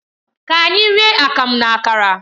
Ka anyị rie Akamu na Akara